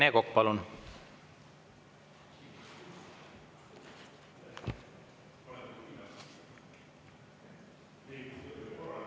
Rene Kokk, palun!